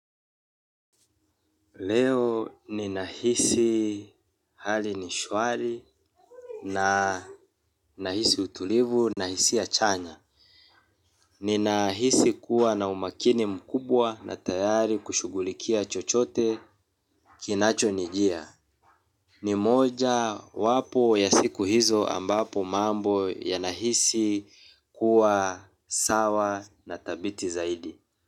Leo ni nahisi hali ni shwari na nahisi utulivu na hisia chanya. Ninahisi kuwa na umakini mkubwa na tayari kushughulikia chochote kinachonijia. Ni moja wapo ya siku hizo ambapo mambo yanahisi kuwa sawa na thabiti zaidi.